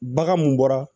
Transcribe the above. Bagan mun bɔra